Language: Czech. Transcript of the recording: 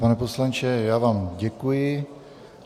Pane poslanče, já vám děkuji.